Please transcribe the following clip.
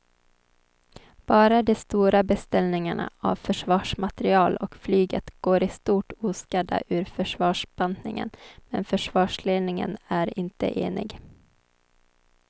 Bara de stora beställningarna av försvarsmateriel och flyget går i stort oskadda ur försvarsbantningen men försvarsledningen är inte enig.